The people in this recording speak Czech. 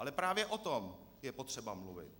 Ale právě o tom je potřeba mluvit.